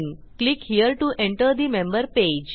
click here to enter the member page